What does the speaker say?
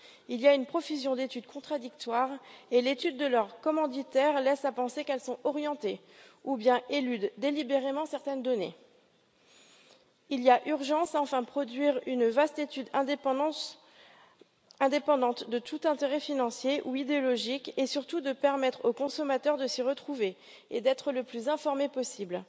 Il y a une profusion d'études contradictoires et l'étude de leurs commanditaires laisse à penser qu'elles sont orientées ou bien éludent délibérément certaines données. Il y a urgence, enfin, à produire une vaste étude indépendante de tout intérêt financier ou idéologique et surtout de permettre aux consommateurs de s'y retrouver et d'être les plus informés possible.